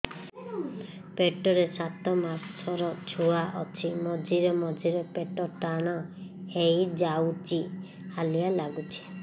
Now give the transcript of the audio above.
ପେଟ ରେ ସାତମାସର ଛୁଆ ଅଛି ମଝିରେ ମଝିରେ ପେଟ ଟାଣ ହେଇଯାଉଚି ହାଲିଆ ଲାଗୁଚି